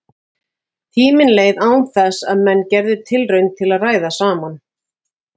Tíminn leið án þess menn gerðu tilraun til að ræða saman.